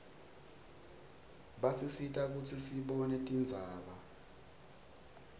basisita kutsi sibone tindzaba